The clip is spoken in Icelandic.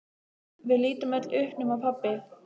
Við lítum öll upp nema pabbi.